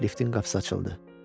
Liftin qapısı açıldı.